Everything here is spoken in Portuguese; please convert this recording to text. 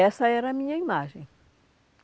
Essa era a minha imagem.